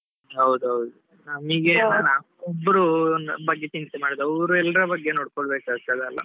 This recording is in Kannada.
ಹೌದೌದು. ಒಬ್ರು ನಮ್ಮ ಬಗ್ಗೆ ಚಿಂತೆ ಮಾಡುದು ಅವ್ರು ಎಲ್ಲಾರ್ ಬಗ್ಗೆ ನೋಡ್ಕೊಳ್ಬೇಕಾಗ್ತದೆ ಅಲ್ಲಾ?